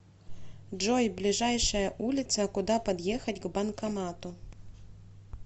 джой ближайшая улица куда подъехать к банкомату